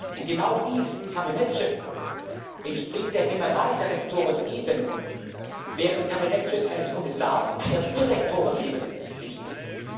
Präsidenten. Und genau dies, Kabinettschef, entspricht der Generaldirektorenebene, während Kabinettschef eines Kommissars der Direktorenebene